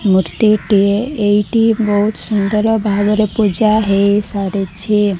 ମୂର୍ତ୍ତି ଟିଏ ଏହିଟି ବହୁତ ସୁନ୍ଦର ବାହାଘର ପୂଜା ହେଇ ସାରିଛି।